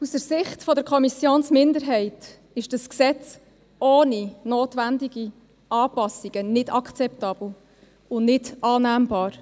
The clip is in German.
Aus der Sicht der Kommissionsminderheit ist das Gesetz ohne notwendige Anpassungen nicht akzeptabel und nicht annehmbar.